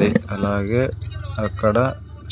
వె అలాగే అక్కడ